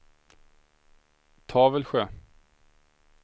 Tavelsjö